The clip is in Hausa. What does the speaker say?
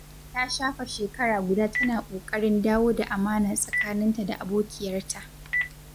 Ta shafe shekara guda tana ƙoƙarin dawo da amana tsakaninta da abokiyarta.